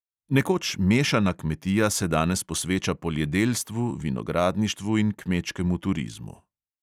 Nekoč mešana kmetija se danes posveča poljedelstvu, vinogradništvu in kmečkemu turizmu.